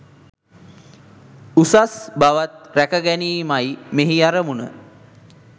උසස් බවත් ‍රැක ගැනීමයි මෙහි අරමුණ.